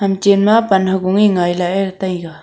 achen ma pan hogan ngai lah taiga.